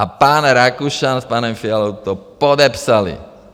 A pan Rakušan s panem Fialou to podepsali!